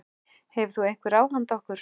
Hefur þú einhver ráð handa okkur?